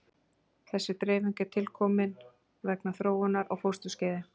Þessi dreifing er tilkomin vegna þróunar á fósturskeiði.